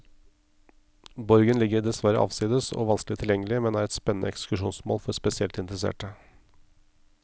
Borgen ligger dessverre avsides og vanskelig tilgjengelig, men er et spennende ekskursjonsmål for spesielt interesserte.